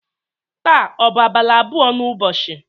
taa ọ bụ abalị abụọ n'ụbọchị?